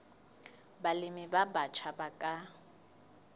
balemi ba batjha ba ka